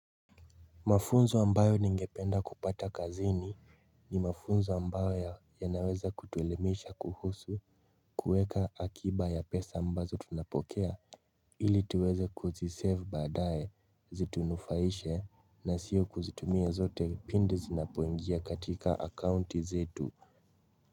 Mafunzo ambayo ningependa kupata kazini ni mafunzo ambayo yanaweza kutuelemisha kuhusu kueka akiba ya pesa ambazo tunapokea ili tuweze kuzisave baadaye zitunufaishe na sio kuzitumia zote pindi zinapoingia katika akaunti zetu.